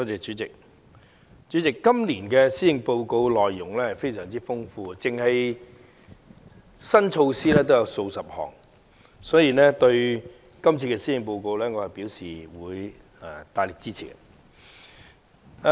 代理主席，今年施政報告的內容非常豐富，單單新措施已有數十項，所以我對今次的施政報告表示大力支持。